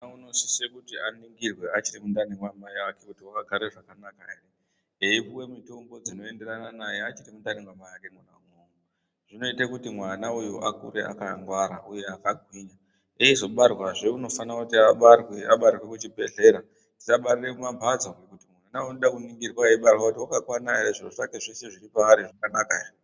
Mwana unosise kuti aningirwe achiri mundani mwamai ake kuti wakagare zvakanaka ere eipuwe mitombo dzinoenderana naye achiri mundani mwamai ake mwona imwomwo. Zvinoite kuti mwana uyu akure akangwara uye akagwinya. Eizobarwazve unofana kuti abarirwe kuchibhedhlera , tisabarire mumambatso ngekuti uyu unoda kuningirwa kuti wakakwana ere zviro zvese zviri paari zvakanaka ere.